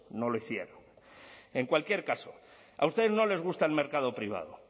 no lo hicieron en cualquier caso a ustedes no les gusta el mercado privado